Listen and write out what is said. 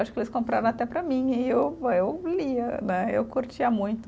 Acho que eles compravam até para mim, e eu, eu lia né, eu curtia muito.